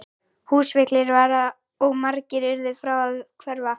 Húsfyllir var og margir urðu frá að hverfa.